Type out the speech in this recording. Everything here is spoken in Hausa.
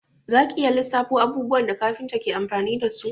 Za ki iya lissafo abubuwan da kafinta ke amfani dasu?